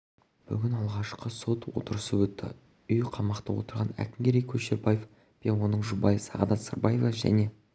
бүгін алғашқы сот отырысы өтті үйқамақта отырған әкімгерей көшербаев пен оның жұбайы сағадат сырбаева және